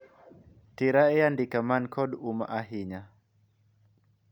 tera e andike mani kod umma ahinya